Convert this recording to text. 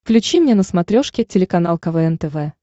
включи мне на смотрешке телеканал квн тв